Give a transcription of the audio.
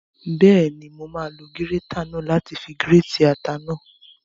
Bẹ́ẹ̀ni, mo máa lo gírétà náà láti fi gírètì ata náà